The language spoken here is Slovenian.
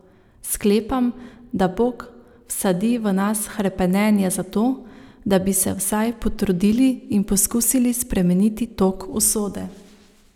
Sklepam, da Bog vsadi v nas hrepenenje zato, da bi se vsaj potrudili in poskusili spremeniti tok usode.